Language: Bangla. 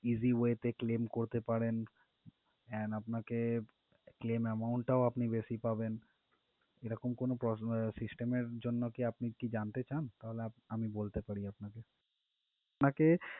Easy way তে claim করতে পারেন and আপনাকে claim amount টাও আপনি বেশি পাবেন এরকম কোনো pro~ আহ system এর জন্য কি আপনি জানতে চান তাহলে আপ~ আমি বলতে পারি আপনাকে আপনাকে